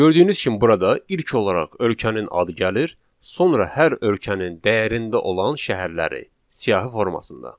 Gördüyünüz kimi burada ilk olaraq ölkənin adı gəlir, sonra hər ölkənin dəyərində olan şəhərləri siyahı formasında.